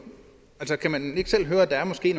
kan man ikke selv høre at der måske